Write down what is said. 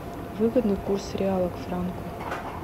выгодный курс реала к франку